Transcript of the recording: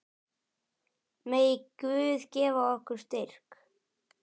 Megi Guð gefa ykkur styrk.